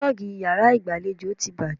Púlọ́ọ́gì yàrá ìgbàlejò ti bàjẹ́.